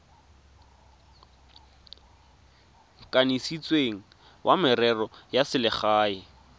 kanisitsweng wa merero ya selegae